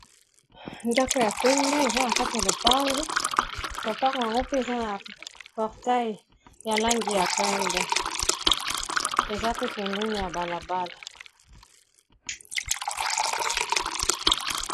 ndako ya pembe eza na kati ya lopango lopango yango mpe eza na portei ya langi ya pembe eza pe pembeni ya balabala